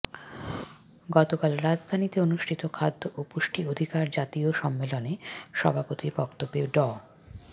গতকাল রাজধানীতে অনুষ্ঠিত খাদ্য ও পুষ্টি অধিকার জাতীয় সম্মেলনে সভাপতির বক্তব্যে ড